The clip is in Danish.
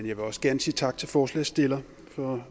jeg vil også gerne sige tak til forslagsstilleren for